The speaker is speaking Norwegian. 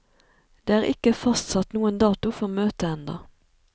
Det er ikke fastsatt noen dato for møtet enda.